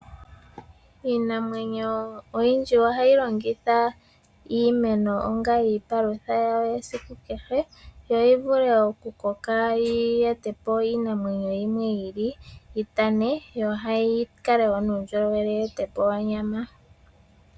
Iinamyenyo oyindji ohayi longitha iimeno onga iipalutha yawo yesiku kehe, yo yi vule okukoka yi ete po iinamwenyo yimwe yi ili, yi tane. Yo yi kale wo nuundjolowele, yi ete po onyama.